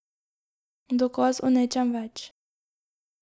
Dokaz o nečem več.